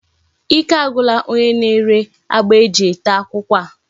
Ike agwula onye na-ere agba eji tee akwukwo a.